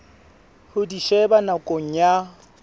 ho di sheba nakong ya